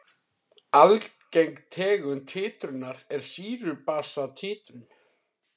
Algeng tegund títrunar er sýru-basa títrun.